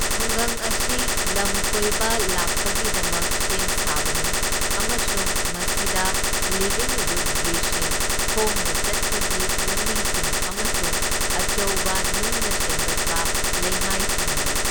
ꯈꯨꯡꯒꯪ ꯑꯁꯤ ꯂꯝꯀꯣꯏꯕ ꯂꯥꯛꯄꯒꯤꯗꯃꯛ ꯁꯦꯝ ꯁꯥꯕꯅꯤ, ꯑꯃꯁꯨꯡ ꯃꯁꯤꯗ ꯂꯤꯚꯤꯡ ꯔꯨꯠ ꯕ꯭ꯔꯤꯖꯁꯤꯡ, ꯈꯣꯡꯅ ꯆꯠꯄꯒꯤ ꯂꯝꯕꯤꯁꯤꯡ, ꯑꯃꯁꯨꯡ ꯑꯆꯧꯕ ꯅꯨꯡꯅ ꯁꯦꯝꯒꯠꯄ ꯂꯩꯃꯥꯏꯁꯤꯡ ꯂꯩ꯫